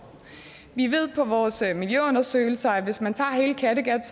vi ved fra vores miljøundersøgelser at hvis man tager hele kattegat